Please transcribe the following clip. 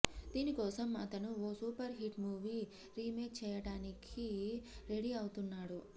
దీని కోసం అతను ఓ సూపర్ హిట్ మూవీ రీమేక్ చేయడానికి రెడీ అవుతున్నాడు